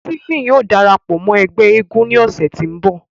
Stephen yóò darapọ mọ ẹgbẹ èègún ni ọsẹ ti nbọ.